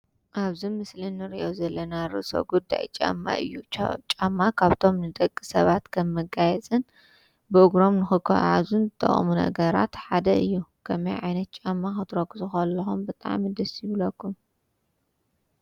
ኣብዚ ምስሊ እንርእዮ ዘለና ርእሰ ጉዳይ ጫማ እዩ፤ ጫማ ካብቶም ንደቂ ሰባት ከም መጋየጽን ብእግሮም ንክጓዓዙን ዝጠቁሙና ኣእጋራት ሓደ እዩ። ከመይ ዓይነት ጫማ ክትረግፁ ከለኩም ብጣዕሚ ደስ ይብለኩም?